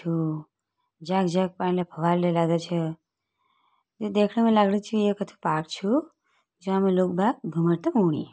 छू जख जख यु देखण मा लगणु छू यु छू जै में ओणी।